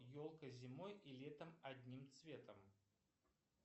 елка зимой и летом одним цветом